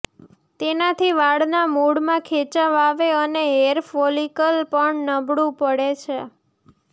તેનાથી વાળના મૂળમાં ખેંચાવ આવે અને હેઅર ફોલિકલ પણ નબળું પડે છે